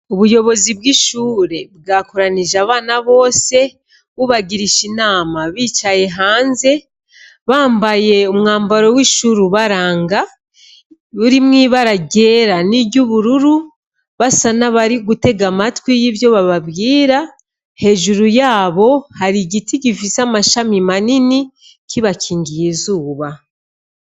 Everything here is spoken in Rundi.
Ubuyobozi bw'ishure bwakoranije abana bose bubagirisha inama bicaye hanze bambaye umwambaro w'ishuri ubaranga urimwo ibara ryera n'iry'ubururu basa n'abari gutega amatwi y'ivyo bababwira, hejuru yabo hari igiti gifise amashami manini kibakingiye izuba.